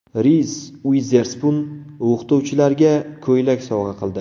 Riz Uizerspun o‘qituvchilarga ko‘ylak sovg‘a qildi.